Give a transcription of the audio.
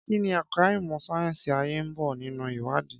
Kí ni ẹ̀ka ìmọ̀ sáyẹ́sì ayé ń bo nínú ìwádìí?